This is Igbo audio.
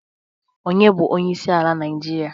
Onye bu onyeisi ala naijiria?